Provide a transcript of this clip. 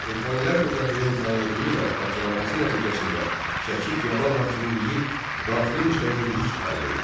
Elxanilər dövlətinin tənəzzülü və parçalanması nəticəsində Şəki feodal hakimliyinin daxili müstəqillik əldə etdi.